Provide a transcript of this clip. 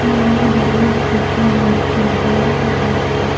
यह गणेश जी की मूर्ति है यहां पे--